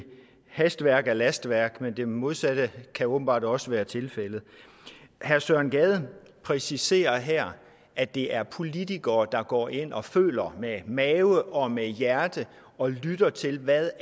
hastværk er lastværk men det modsatte kan åbenbart også være tilfældet herre søren gade præciserer her at det er politikere der går ind og føler med mave og med hjerte og lytter til hvad